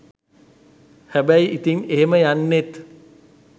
හැබැයි ඉතින් එහෙම යන්නෙත්